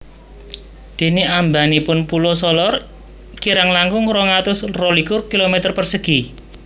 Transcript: Dene ambanipun Pulo Solor kirang langkung rong atus rolikur kilometer persegi